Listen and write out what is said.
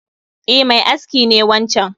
E, mai aski ne wancan